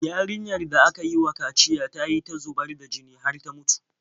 Yarinyar da aka yi wa kaciya ta yi ta zubar da jini har ta mutu.